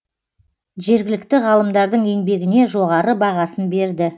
жергілікті ғалымдардың еңбегіне жоғары бағасын берді